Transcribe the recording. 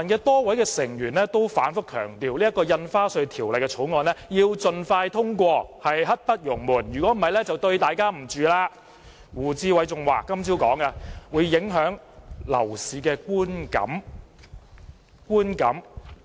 多位泛民議員均反覆強調《條例草案》應盡快通過，刻不容緩，否則便對不起市民，胡志偉議員今早更說這樣會影響市民對樓市的觀感。